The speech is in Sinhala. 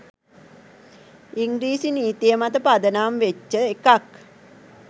ඉංග්‍රීසි නීතිය මත පදනම් වෙච්ච එකක්